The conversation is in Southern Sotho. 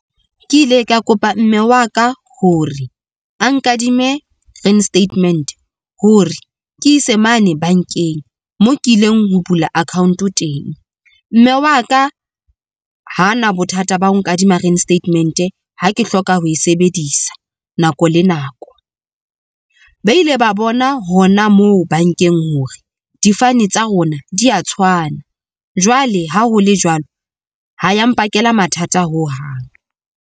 Ke ile ka kopa mme wa ka hore a nkadime reinstatement hore ke ise mane bankeng moo ke ileng ho bula account-o teng. Mme wa ka ha na bothata ba ho nkadima reinstatement ha ke hloka ho e sebedisa nako le nako. Ba ile ba bona hona moo bankeng hore difane tsa rona di ya tshwana. Jwale ha ho le jwalo ha ya mpakela mathata hohang.